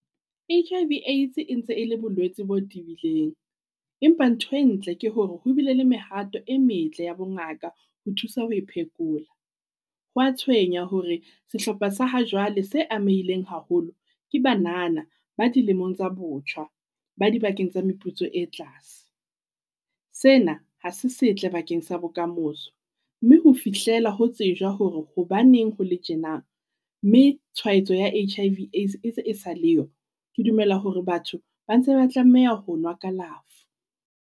H_I_V Aids e ntse e le bolwetse bo tibileng. Empa ntho e ntle ke hore ho bile le mehato e metle ya bo ngaka ho thusa ho e phekola. Ho a tshwenya hore sehlopha sa ha jwale se amehileng haholo ke banana ba dilemong tsa botjha. Ba dibakeng tsa meputso e tlase. Sena ha se setle bakeng sa bokamoso mme ho fihlela ho tsejwa hore hobaneng ho le tjena. Mme tshwaetso ya H_I _V Aids e se e sa le yo, ke dumela hore batho ba ntse ba tlameha ho nwa kalafo.